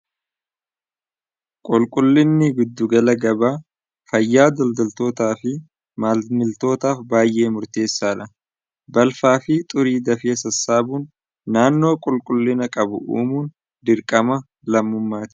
qulqullinni giddugala gabaa fayyaa daldaltootaa fi maamiltootaaf baay'ee murteessaadha balfaa fi xurii dafanii sassaabuun naannoo qulqullina qabu uumuun dirqama lammummaati